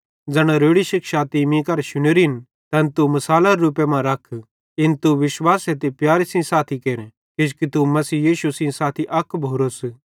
ज़ैना रोड़ी शिक्षां तीं मीं करां शुनोरिन तैन तू मिसालरे रूपे मां रख इन तू विश्वासे ते प्यारे सेइं साथी केर किजोकि तू मसीह सेइं साथी अक भोरोस